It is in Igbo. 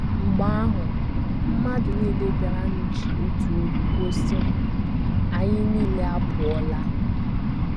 Mgbe ahụ, mmadụ nile bịaranụ ji otu olu kwuo, sị: “ Anyị nile apụọla! ”